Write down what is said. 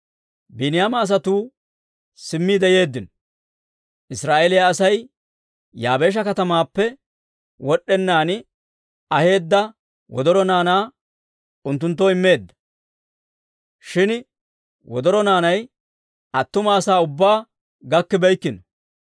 Biiniyaama asatuu simmiide yeeddino. Israa'eeliyaa Asay Yaabeesha katamaappe wod'enaan aheedda wodoro naanaa unttunttoo immeedda. Shin wodoro naanay attuma asaa ubbaa gakkibeykkino.